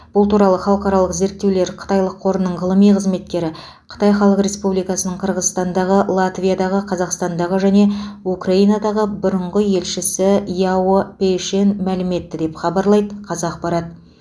бұл туралы халықаралық зерттеулер қытайлық қорының ғылыми қызметкері қытай халық республикасының қырғызстандағы латвиядағы қазақстандағы және украинадағы бұрынғы елшісі яо пэйшэн мәлім етті деп хабарлайды қазақпарат